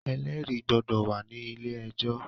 Ẹlẹ́rìí gbọdọ̀ wà ní ilé ẹjọ́